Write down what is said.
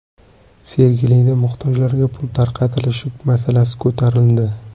Sergelida muhtojlarga pul tarqatilishi masalasi ko‘tarildi.